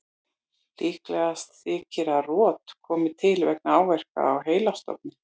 Líklegast þykir að rot komi til vegna áverka á heilastofninn.